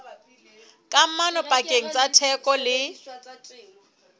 kamano pakeng tsa theko le